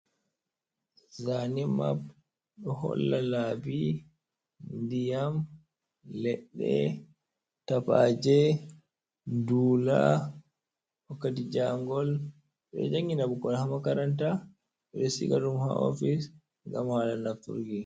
Zane map: Do holla labi ndiyam, ledde, tappaje, dula, wakkati jangol. Bedo jangina 6ukkon ha makaranta, bedo siga dum ha office ngam hala nafturki.